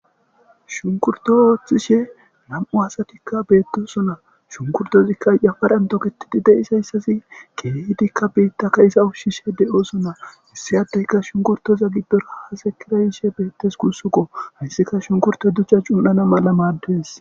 shunkurto ooththishe nam7u asatikka beettosona shunkurtozikka yafaran toketidi deisayssasi keehidikka biitta ka issa ushshishe de7osona issi addeyka shunkurtoza gibbera haase kirayishe beettes kussuko hayssika shunkurto duchcha cun7ana mala maaddes